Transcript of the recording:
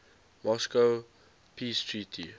moscow peace treaty